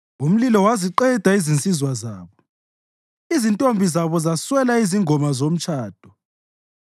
Umlilo waziqeda izinsizwa zabo, izintombi zabo zaswela izingoma zomtshado;